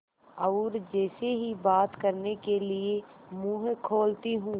और जैसे ही बात करने के लिए मुँह खोलती हूँ